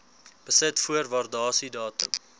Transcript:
besit voor waardasiedatum